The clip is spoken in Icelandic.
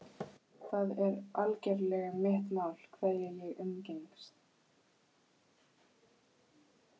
Það er algerlega mitt mál hverja ég umgengst.